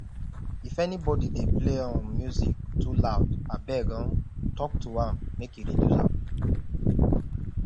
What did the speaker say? if anybody dey play um music too loud abeg um talk to am make e reduce am